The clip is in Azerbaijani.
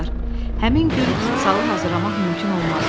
Həmin gün salı hazırlamaq mümkün olmadı.